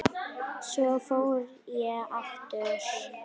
Svo fór ég aftur heim.